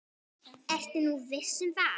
Ertu nú viss um það?